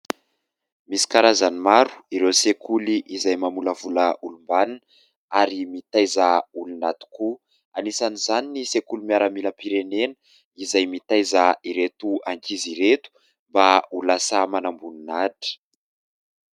Misy karazany maro ireo sekoly izay mamolavola olom-banona ary mitaiza olona tokoa. Anisan'izany ny sekoly miaramilam-pirenena izay mitaiza ireto ankizy ireto mba ho lasa manamboninahitra.